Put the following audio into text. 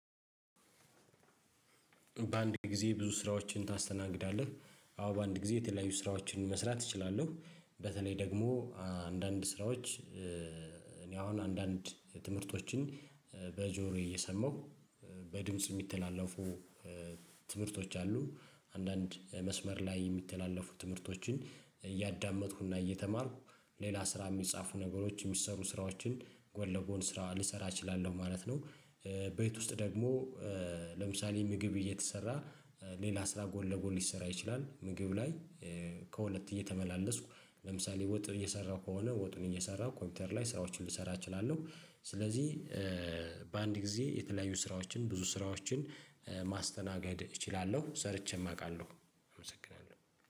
በአንድ? ጊዜ ብዙ ስራዎችን ታስተናግዳለህ አዎ በአንድ ጊዜ የተለያዩ ስራዎችን መስራት እችላለሁ። በተለይ ደግሞ አንዳንድ ስራዎች እኔ አሁን አንዳንድ ትምህርቶችን በጆሮዬ እየሰማሁ በድምጽ የሚተላለፉ ትምህርቶች አሉ አንዳንድ መስመር ላይ የሚተላለፉ ትምህርቶችን እያዳመጥኩና እየተማርኩ ሌላ ስራ የሚጻፉ ነገሮች የሚሰሩ ስራዎችን ጎል ለጎን ስራ ልሰራ እችላለሁ ማለት ነው። ቤት ውስጥ ደግሞ ለምሳሌ ምግብ እየተሰራ ሌላ ስራ ጎን ለጎን ሊሰራ ይችላል። ምግብ ላይ ከሁለት እየተመላለስኩ ለምሳሌ ወጥ እየሰራሁ ከሆነ ወጡን እየሰራሁ ኮምፒውተር ላይ ስራዎችን ልሰራ እችላለሁ። ስለዚህ በአንድ ጊዜ የተለያዩ ስራዎችን ብዙ ስራዎችን ማስተናገድ እችላለሁ ሰርቼም አውቃለሁ። አመሰግናለሁ